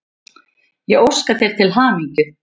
og óska þér til hamingju.